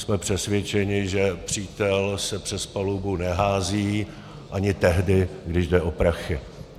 Jsme přesvědčeni, že přítel se přes palubu nehází ani tehdy, když jde o prachy.